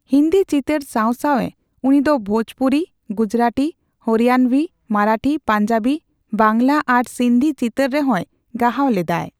ᱦᱤᱱᱫᱤ ᱪᱤᱛᱟᱹᱨ ᱥᱟᱣ ᱥᱟᱣᱮ ᱩᱱᱤᱫᱚ ᱵᱷᱳᱡᱽᱯᱩᱨᱤ, ᱜᱩᱡᱽᱨᱟᱴᱤ, ᱦᱚᱨᱤᱭᱟᱱᱵᱷᱤ, ᱢᱟᱨᱟᱴᱷᱤ, ᱯᱟᱧᱡᱟᱵᱤ, ᱵᱟᱝᱞᱟ ᱟᱨ ᱥᱤᱱᱫᱷᱤ ᱪᱤᱛᱟᱹᱨ ᱨᱮᱦᱚᱭ ᱜᱟᱦᱟᱣ ᱞᱮᱫᱟᱭ ᱾